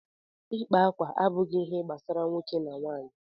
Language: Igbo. ịkpa akwa abụghị ihe gbasara nwoke na nwanyị